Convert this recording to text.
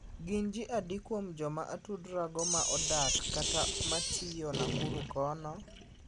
Gin ji adi kuom joma atudra go ma odak kata matiyo Nakuru kono?